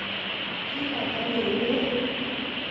Kigotogeger.